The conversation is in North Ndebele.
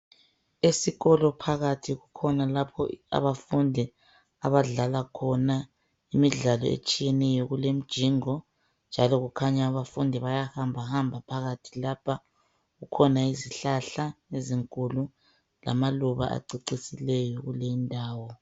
Esikolo phakathi kukhona lapho abafundi abadlala khona imidlalo etshiyeneyo njalo kulemjingo njalo kukhanya abafundi bayahamba hamba phakathi lapha kukhona izihlahla ezinkulu lamaluba acecisileyo kuleyindawo.